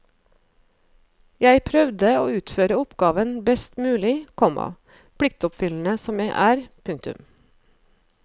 Jeg prøvde å utføre oppgaven best mulig, komma pliktoppfyllende som jeg er. punktum